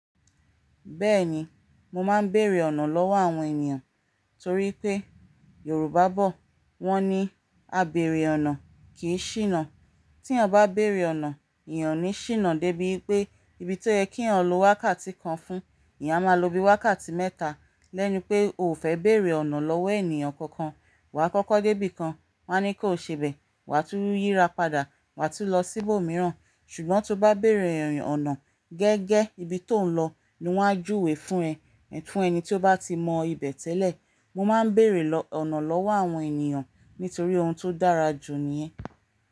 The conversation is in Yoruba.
Bẹ́ẹ̀ni, mo máa ń bèrè ọ̀nà lọ́wọ́ àwọn ènìyàn torí pé Yorùbá bọ̀, wọ́n ní "Àbèrè ọ̀nà kì í ṣìnà". Tí ẹ bá bèrè ọ̀nà, eeyàn ní ṣìnà débi pé ibi tó yẹ kí ẹ lọ wákàtí kan fún, eeyán máa lọ bí i wákàtí mẹ́ta. Bí ẹni pé o fẹ́ béèrè ọ̀nà lọ́wọ́ ènìyàn kankan, wá kọ́kọ́ dé ibìkan wọn á ní kò ṣe ibẹ̀ wá tún yíra padà wá tún lọ sí ibò míràn, ṣùgbọ́ tó bá bèrè ọ̀nà gẹ́gẹ́ ibi tó ń lọ ni wọn á júwe fún ẹ. Fún ẹni tí ó bá ti mọ ibẹ̀ tẹ́lẹ̀, mo máa ń bèrè ọ̀nà lọ́wọ́ àwọn ènìyàn nítorí ohun tó dára jù ni ẹ́.